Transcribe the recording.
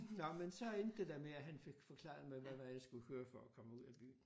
Nåh men så endte det da med at han fik forklaret mig hvad vej jeg skulle køre for at komme ud af byen